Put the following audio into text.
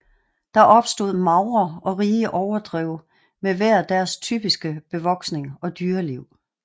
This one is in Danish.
Der opstod magre og rige overdrev med hver deres typiske bevoksning og dyreliv